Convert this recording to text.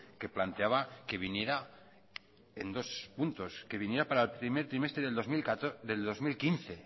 que planteaba que viniera en dos puntos que viniera para el primer trimestre del dos mil quince